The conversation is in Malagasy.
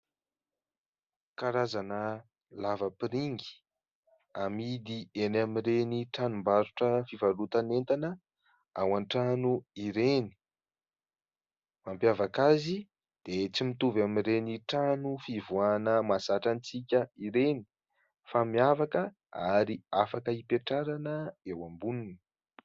karazana lavapiringa amidy eny amin'ireny tranombarotra fivarotana entana ao an-trano ireny. Mampiavaka azy dia tsy mitovy amin'ireny trano fivoahana mahazatra antsika ireny fa miavaka ary afaka hipetrahana eo amboniny.